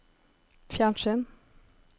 fjernsyn